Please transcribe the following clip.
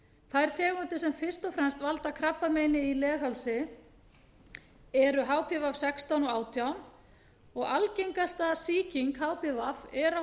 þær tegundir sem fyrst og fremst valda krabbameini í leghálsi eru hpv sextán og átján og algengasta sýking hpv er á